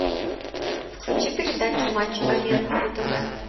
включи передачу матч арена на тв